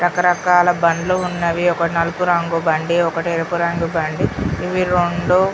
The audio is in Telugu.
రకరకాల బండ్లు ఉన్నవి ఒక నలుపు రంగు బండి ఒక ఎరుపు రంగు బండి ఇవి రెండు --